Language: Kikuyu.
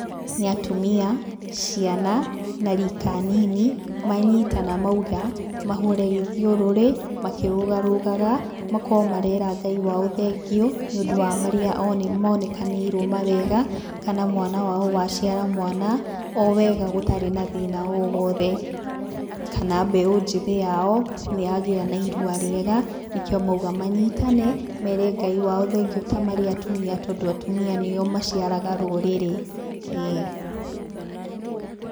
Nĩ atumia, ciana na rika nini, manyitana mauga, mahũre gĩthiũrũrĩ, makĩrũgarũgaga, makoo marera Ngai wao thengiũ, nĩ ũndũ wa marĩa monekanĩirwo mawega, kana mwana wao waciara mwana, o wega gũtarĩ na thĩna o wothe. Kana mbeũ njĩthĩ yao yagĩa na irua rĩega, nĩkĩo mauga manyitane, mere Ngai wao thengiũ ta marĩ atumia tondũ atumia nĩo maciaraga rũrĩrĩ. Ĩĩ.